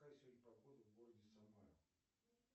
какая сегодня погода в городе самара